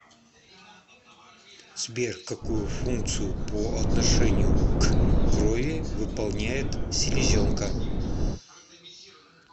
сбер какую функцию по отношению к крови выполняет селезенка